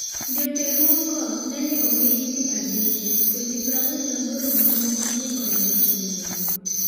Joterruokgo nene onego ji 7 to ji 48 mamoko ne oyudo hinyruok.